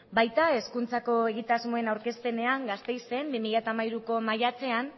baita hezkuntzako egitasmoen aurkezpenean gasteizen mila bederatziehun eta laurogeita hamairuko maiatzean